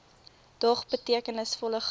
dog betekenisvolle groei